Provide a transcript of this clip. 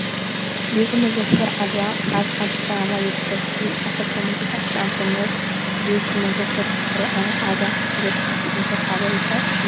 ቤተ መዘክር ዝኽሪ ዓወት ዓድዋ ኣብ ኣዲስ ኣበባ ይርከብ። ኣብ 1896 ዓ.ም. ቤተ መዘክር ዝኽሪ ዓወት ዓድዋ ንበጻሕቲ እንታይ ሓበሬታ ይህብ?